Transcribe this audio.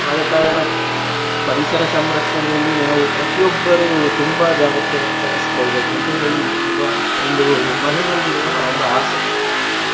ಆದ ಕಾರಣ ಪರಿಸರ ಸಂರಕ್ಷಣೆಯಲ್ಲಿ ನಾವು ಪ್ರತಿಯೊಬ್ಬರೂ ತುಂಬಾ ಜಾಗ್ರತೆ ವಹಿಸ್ಕೊಳ್ಬೇಕು ಅಂತೇಳಿ ಇರುವ ಒಂದು ಮನದಲ್ಲಿರುವ ಒಂದು ಆಸೆ.